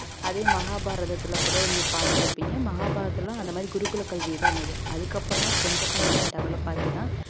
அதே மகாபாரதத்தில கூட நீங்க பார்த்திருப்பீங்க மகாபாரதத்தில எல்லாம் அந்த மாதிரி குருகுல கல்வி தான் இருந்தது அதுக்கப்புறம் தான் கொஞ்சம் கொஞ்சமா develop ஆகி தான்